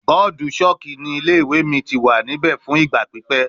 Bọọdu chalk ni ile-iwe mi ti wa nibẹ fun igba pipẹ